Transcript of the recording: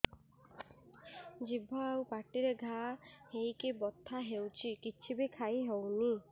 ଜିଭ ଆଉ ପାଟିରେ ଘା ହେଇକି ବଥା ହେଉଛି କିଛି ବି ଖାଇହଉନି